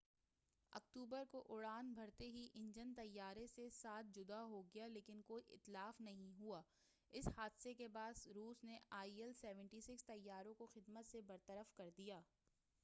7 اکتوبر کو اڑان بھرتے ہی انجن طیارہ سے جدا ہو گیا لیکن کوئی اتلاف نہیں ہوا اس حادثہ کے بعد روس نے آئی ایل-76 طیاروں کو خدمت سے برطرف کردیا